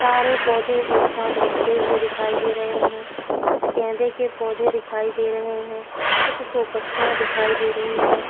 सारे पौधे एक साथ रखे हुए दिखाई दे रहे हैं। कुछ गेंदे के पौधे दिखाई दे रहे हैं। कुछ शो पत्तियाँ दिखाई दे रही हैं।